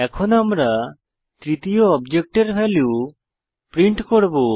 এখন আমরা তৃতীয় অবজেক্টের ভ্যালু প্রিন্ট করব